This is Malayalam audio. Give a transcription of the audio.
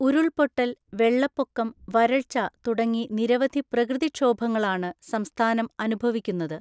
ഉരുൾപൊട്ടൽ, വെള്ളപ്പൊക്കം, വരൾച്ച തുടങ്ങി നിരവധി പ്രകൃതിക്ഷോഭങ്ങളാണ് സംസ്ഥാനം അനുഭവിക്കുന്നത്.